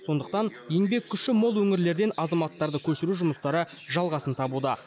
сондықтан еңбек күші мол өңірлерден азаматтарды көшіру жұмыстары жалғасын табуда